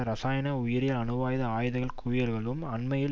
இரசாயன உயிரியல் அணுவாயுத ஆயுத குவியல்களும் அண்மையில்